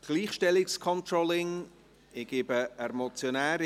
«Gleichstellungscontrolling [...]».